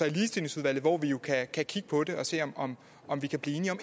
ligestillingsudvalget hvor vi kan kigge på det og se om om vi kan blive